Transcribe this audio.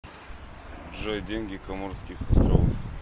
джой деньги коморских островов